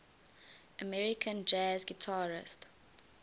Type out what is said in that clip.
american jazz guitarists